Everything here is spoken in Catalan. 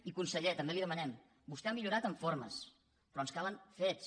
i conseller també li ho demanem vostè ha millorat en formes però ens calen fets